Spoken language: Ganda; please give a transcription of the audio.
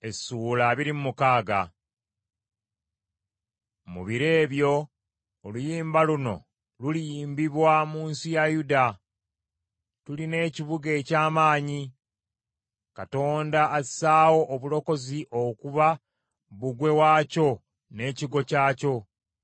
Mu biro ebyo oluyimba luno luliyimbibwa mu nsi ya Yuda. Tulina ekibuga eky’amaanyi; Katonda assaawo obulokozi okuba bbugwe waakyo n’ekigo kyakyo.